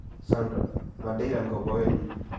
Sandra: 'Ma Daylan koboyonyu?'